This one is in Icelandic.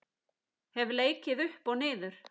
Hef leikið upp og niður.